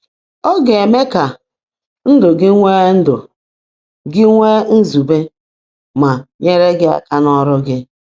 “Ọ ga-eme ka ndụ gị nwee ndụ gị nwee nzube ma nyere gị aka n’ọrụ gị”